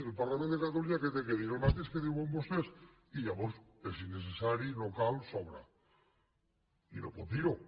el parlament de catalunya què ha de dir el mateix que diuen vostès i llavors és innecessari no cal sobra i no pot dir ho